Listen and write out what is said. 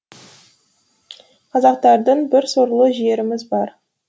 қазақтардың бір сорлы жеріміз бар